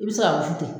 I bɛ se ka wusu ten